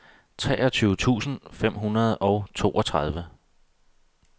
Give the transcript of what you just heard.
treogtyve tusind fem hundrede og toogtredive